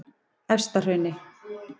Efstahrauni